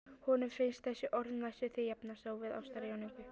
Honum finnst þessi orð næstum því jafnast á við ástarjátningu.